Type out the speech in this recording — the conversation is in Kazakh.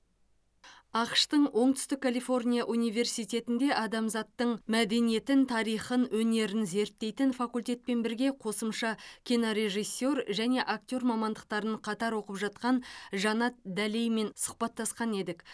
ақш тың оңтүстік калифорния университетінде адамзаттың мәдениетін тарихын өнерін зерттейтін факультетпен бірге қосымша кинорежиссер және актер мамандықтарын қатар оқып жатқан жанат дәлеймен сұхбаттасқан едік